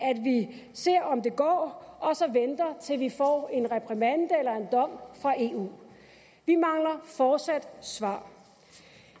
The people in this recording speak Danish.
vi ser om det går og så venter til vi får en reprimande eller en dom fra eu vi mangler fortsat svar